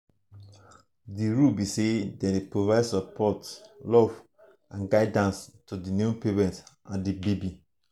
di role be say dem dey provide support love and guidance to di new parents and di baby.